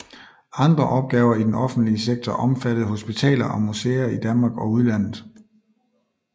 Andre opgaver I den offentlige sektor omfattede hospitaler og museer I Danmark og udlandet